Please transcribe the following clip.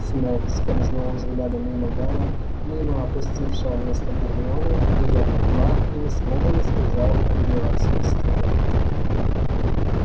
снегг скользнул взглядом мимо гарри мимо опустевшего места гермионы её котла и ни слова не сказал о её отсутствии